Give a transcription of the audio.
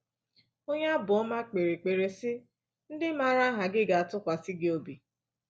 Onye Abụọma kpere ekpere sị: “ Ndị maara aha gi ga-atụkwasị gi obi."